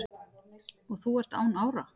og þú ert án ára